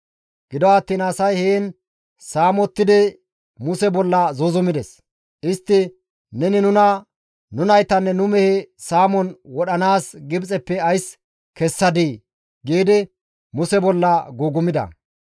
Gido attiin asay heen saamettidi Muse bolla zuuzumides. Istti, «Neni nuna, nu naytanne nu mehe saamon wodhdhanaas Gibxeppe ays kessadii?» giidi Muse bolla gugumida.